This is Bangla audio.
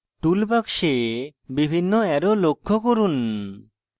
tool box বিভিন্ন অ্যারো লক্ষ্য করুন